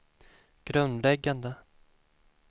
grundläggande